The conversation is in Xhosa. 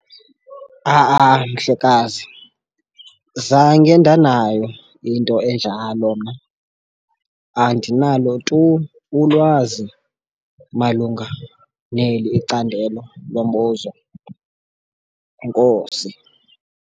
Ha-a, mhlekazi zange ndanayo into enjalo mna andinalo tu ulwazi malunga neli icandelo lombuzo, enkosi.